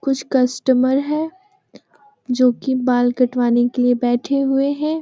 कुछ कस्टमर है जो की बाल कटवाने के लिए बैठे हुए हैं।